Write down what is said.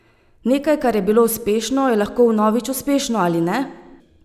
Nekaj, kar je bilo uspešno, je lahko vnovič uspešno, ali ne?